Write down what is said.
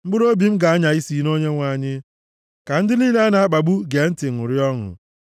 Mkpụrụobi m ga-anya isi na Onyenwe anyị; ka ndị niile a na-akpagbu gee ntị ṅụrịa ọṅụ.